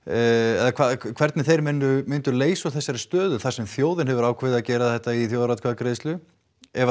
eða hvernig þeir myndu leysa úr þessari stöðu þar sem þjóðin hefur ákveðið að gera þetta í þjóðaratkvæðagreiðslu ef að